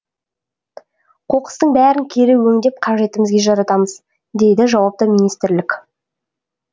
қоқыстың бәрін кері өңдеп қажетімізге жаратамыз дейді жауапты министрлік